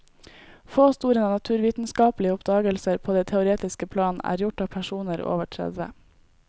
Få store naturvitenskapelige oppdagelser på det teoretiske plan er gjort av personer over tredve.